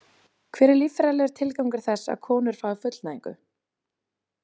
Hver er líffræðilegur tilgangur þess að konur fái fullnægingu?